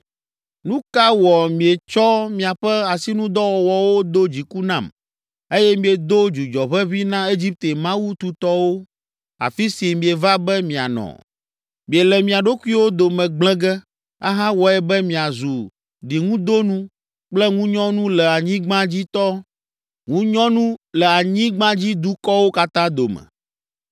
Nu ka wɔ mietsɔ miaƒe asinudɔwɔwɔwo do dziku nam, eye miedo dzudzɔʋeʋĩ na Egipte mawu tutɔwo, afi si mieva be mianɔ? Miele mia ɖokuiwo dome gblẽ ge, ahawɔe be miazu ɖiŋudonu kple ŋunyɔnu le anyigbadzidukɔwo katã dome.